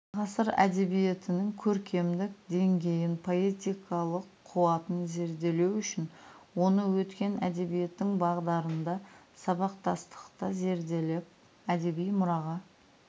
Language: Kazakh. ғасыр әдебиеттінің көркемдік деңгейін поэтикалық қуатын зерделеу үшін оны өткен әдебиеттің бағдарында сабақтастықта зерделеп әдеби мұраға